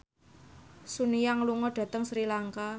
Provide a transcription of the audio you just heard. Sun Yang lunga dhateng Sri Lanka